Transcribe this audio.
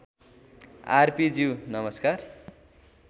are P ज्यू नमस्कार